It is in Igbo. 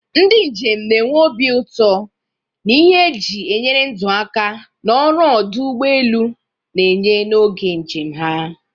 Ndị njem na-enwe obi ụtọ na ihe eji enyere ndụ aka na ọrụ ọdụ ụgbọ elu na-enye n'oge njem ha.